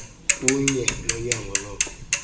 kunye nonyango loko